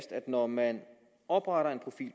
når man opretter en profil